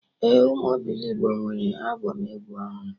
Ee, ụmụ obilogbo nwere albọm egwu ọhụrụ